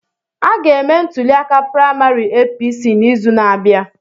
A ga-eme ntuliaka praịmarị APC n'izu na-abịa.